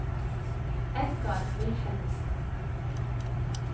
Edgar Wilhelmsen